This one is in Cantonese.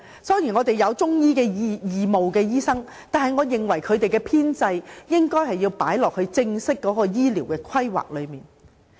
雖然我們有義務中醫師提供服務，但我認為中醫應納入正式的醫療規劃中。